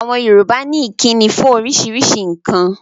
Àwọn Yorùbá ní ìkíni fún oríṣiríṣi nǹkan.